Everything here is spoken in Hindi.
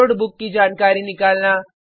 बॉरोड बुक की जानकारी निकालना